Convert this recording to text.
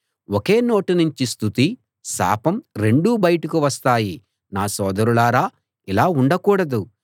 ఒకే నోటినుంచి స్తుతి శాపం రెండూ బయటకు వస్తాయి నా సోదరులారా ఇలా ఉండకూడదు